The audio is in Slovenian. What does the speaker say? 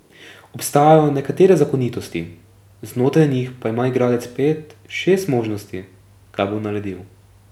Obstajajo nekatere zakonitosti, znotraj njih pa ima igralec pet, šest možnosti, kaj bo naredil.